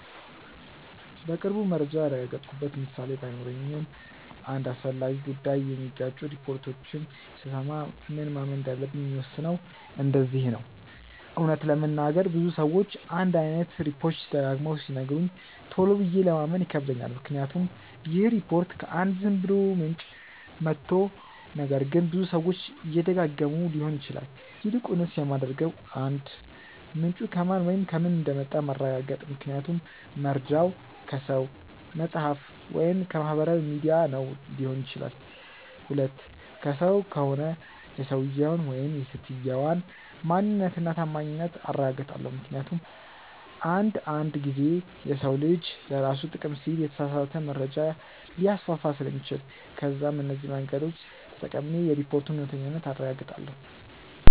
በቅርቡ መረጃ ያረጋገጥኩበት ምሳሌ ባይኖረኝም አንድ አስፈላጊ ጉዳይ የሚጋጩ ሪፖርቶችን ስሰማ ምን ማመን እንዳለብኝ የምወስነው እንደዚህ ነው :- እውነት ለመናገር ብዙ ሰዎች አንድ አይነት ሪፖችት ደጋግመው ሲነግሩኝ ቶሎ ብዬ ለማመን ይከብደኛል ምክንያቱም ይህ ሪፖርት ከ አንድ ዝም ብሎ ምንጭ መቶ ነገር ግን ብዙ ሰዎች እየደጋገመው ሊሆን ይችላል። ይልቁንስ የማደርገው 1. ምንጩ ከማን ወይም ከምን እንደመጣ ማረጋገጥ ምክንያቱም መርጃው ከሰው፣ መፅሐፍ ወይም ከማህበራዊ ሚዲያ ነው ሊሆን ይችላል። 2. ከሰው ከሆነ የሰውየውን/ የሰትየዋን ማንነት እና ታማኝነት አረጋግጣለው ምክንያቱም አንድ አንድ ጊዜ የሰው ልጅ ለራሱ ጥቅም ሲል የተሳሳተ መረጃ ሊያስፋፋ ስለሚችል። ከዛም እነዚህ መንገዶች ተጠቅሜ የሪፖርቱን እውነተኛነት አረጋግጣለው።